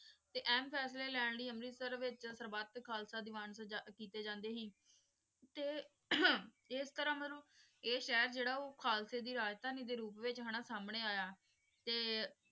ਤੇ ਏਹਾਮ ਫੈਸਲੇ ਲੈਣ ਲੈ ਅੰਮ੍ਰਿਤਸਰ ਵਿਚ ਸਰ੍ਬੰਦ ਤੇ ਖਾਲਸਾ ਦੇਵਾਂਸ ਕਿਤੇ ਜਾਂਦੇ ਸੀ ਤੇ ਇਸ ਤਰਹ ਮਤਲਬ ਆਯ ਸ਼ੇਹਰ ਜੇਰਾ ਓ ਖਾਲਸੇ ਦੀ ਰਾਜਧਾਨੀ ਦੇ ਸੋਵ੍ਰੂਪ ਵਿਚ ਹੈਨਾ ਸੰਨੀ ਆਯਾ ਤੇ